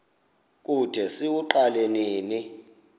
kude siwuqale nini